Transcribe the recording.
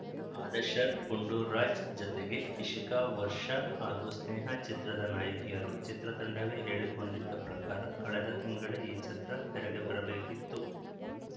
ಆದಶ್‌ರ್ ಗುಂಡುರಾಜ್‌ ಜತೆಗೆ ಇಶಿತಾ ವರ್ಷ ಹಾಗೂ ಸ್ನೇಹಾ ಚಿತ್ರದ ನಾಯಕಿಯರು ಚಿತ್ರ ತಂಡವೇ ಹೇಳಿಕೊಂಡಿದ್ದ ಪ್ರಕಾರ ಕಳೆದ ತಿಂಗಳೇ ಈ ಚಿತ್ರ ತೆರೆಗೆ ಬರಬೇಕಿತ್ತು